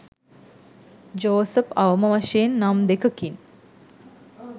Joseph අවම වශයෙන් නම් දෙකකින්